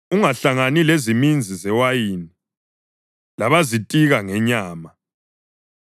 Ungahlangani leziminzi zewayini labazitika ngenyama,